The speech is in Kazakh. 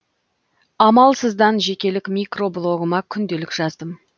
амалсыздан жекелік микро блогыма күнделік жаздым